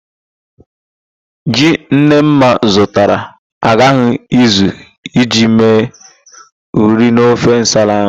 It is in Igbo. Ji Nnemma zụtara agaghị ezu iji mee ụrị n'ofe nsala ahụ